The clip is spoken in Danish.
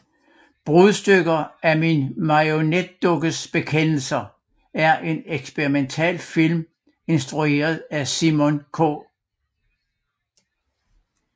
Brudstykker af min marionetdukkes bekendelser er en eksperimentalfilm instrueret af Simon K